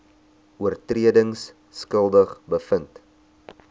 oortredings skuldig bevind